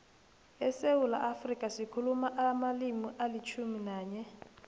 esewula afrika sikhuluma amalimi alitjhumi nanye